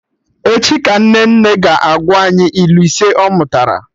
Echi ka Nnenne ga-agwa anyị ilu ise ọ mụtara